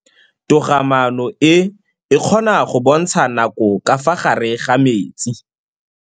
Toga-maanô e, e kgona go bontsha nakô ka fa gare ga metsi.